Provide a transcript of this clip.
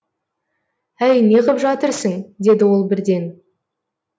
әй не қып жатырсың деді ол бірден